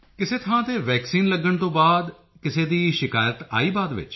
ਕਿਸੇ ਥਾਂ ਤੇ ਵੈਕਸੀਨ ਲੱਗਣ ਤੋਂ ਬਾਅਦ ਕਿਸੇ ਦੀ ਸ਼ਿਕਾਇਤ ਆਈ ਬਾਅਦ ਵਿੱਚ